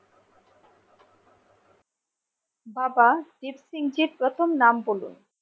বাবা দ্বীপ সিংজির প্রথম নাম বলুন